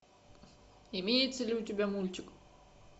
имеется ли у тебя мультик